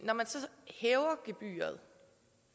at hæver gebyret